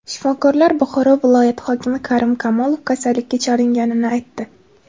Shifokorlar Buxoro viloyati hokimi Karim Kamolov kasallikka chalinganini aytdi.